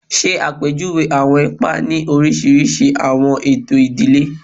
Ṣe apejuwe awọn ipa ni oriṣiriṣi awọn eto idile